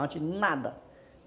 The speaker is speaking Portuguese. Antes nada.